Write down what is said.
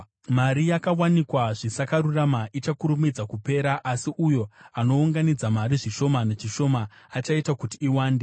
Mari yakawanikwa zvisakarurama ichakurumidza kupera, asi uyo anounganidza mari zvishoma nezvishoma achaita kuti iwande.